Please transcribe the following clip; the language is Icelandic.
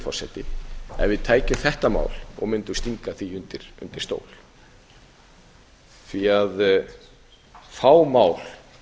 forseti ef við tækjum þetta mál og mundum stinga því undir stól því fá mál